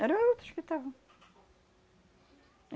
Eram outros que estavam.